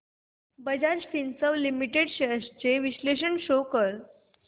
Bajaj Finserv limited shares trends चे विश्लेषण show कर